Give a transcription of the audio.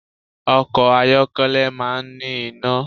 Ọkọ̀ ayọ́kẹ́lẹ́ máa ń ní iná